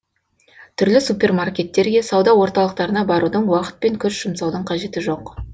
түрлі супермаркеттерге сауда орталықтарына барудың уақыт пен күш жұмсаудың қажеті жоқ